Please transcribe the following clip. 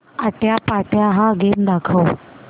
आट्यापाट्या हा गेम दाखव